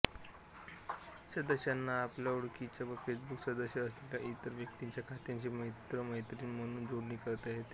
सदस्यांना आपल्या ओळखीच्या व फेसबुक सदस्य असलेल्या इतर व्यक्तींच्या खात्याशी मित्रमैत्रीण म्हणून जोडणी करता येते